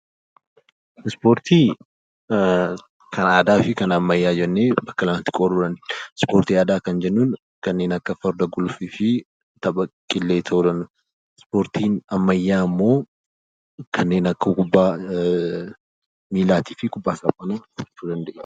Ispoortii kan aadaa fi kan ammayyaa jennee bakka lamatti qooduu dandeenya. Ispoortii aadaa kan jennuun kanneen akka Farda guluffii fi tapha Qillee ta'uu danda'a. Ispoortiin ammayyaa immoo kanneen akka kubbaa miillaatii fi kubbaa saaphanaa jechuu dandeenya.